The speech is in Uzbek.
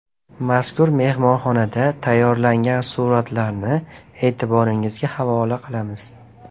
Mazkur mehmonxonadan tayyorlangan suratlarni e’tiboringizga havola qilamiz.